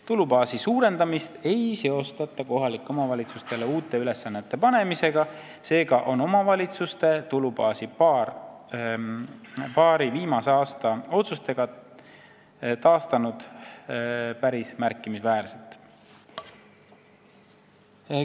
Tulubaasi suurendamist ei seostata kohalikele omavalitsustele uute ülesannete panemisega, seega on omavalitsuste tulubaas paari viimase aasta otsustega taastunud päris märkimisväärselt.